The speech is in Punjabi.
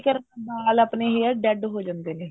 ਕਰਕੇ ਵਾਲ ਆਪਣੇ hair dead ਹੋ ਜਾਂਦੇ ਨੇ